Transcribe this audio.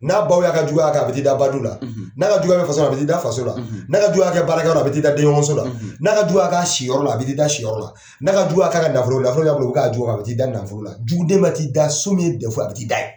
N'a baw y'a ka juguya kɛ, a b'i da ba du la, ,n'a ka juguya bɛ faso a bɛ t'i da faso la, , n'a ka juguya k'a kɛ baara kɛ yɔrɔ la ,a bɛ t'i da denɲɔgɔso la, , n'a ka juguya ka kɛ si yɔrɔ la ,a bɛ t'i da si yɔrɔ la, n'a ka juguya ka k'a nafolo la, nafolo b'a bolo, o be k'a juguya a bɛ t'i da nafolo la. Juguden ma t'i da so min ye a bɛ t'i da yen.